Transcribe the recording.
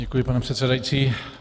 Děkuji, pane předsedající.